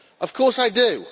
Of course I do.